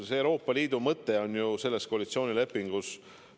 See Euroopa Liidu mõte on ju koalitsioonilepingus kirjas.